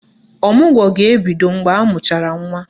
Ọmụgwọ ga-ebido mgbe amụchara nwa.